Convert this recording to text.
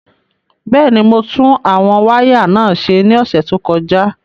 Bẹ́ẹ̀ ni, mo tún àwọn wáyà náà ṣe ní ọ̀sẹ̀ tó kọjá.